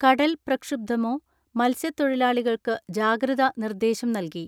കടൽ പ്രക്ഷുബ്ധമോ മത്സ്യതൊഴിലാളികൾക്ക് ജാഗ്രത നിർദ്ദേശം നൽകി.